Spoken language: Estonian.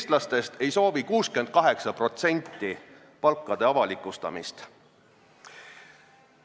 68% eestlastest ei soovi palkade avalikustamist.